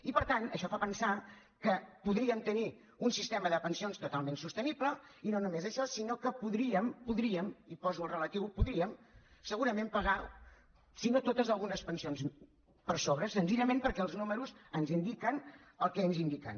i per tant això fa pensar que podríem tenir un sistema de pensions totalment sostenible i no només això sinó que podríem podríem hi poso el relatiu podríem segurament pagar si no totes algunes pensions per sobre senzillament perquè els números ens indiquen el que ens indiquen